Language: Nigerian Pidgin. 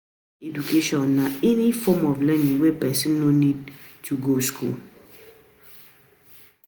Informal education na any form of learning wey person no need to go school